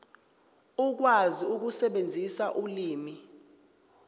ukwazi ukusebenzisa ulimi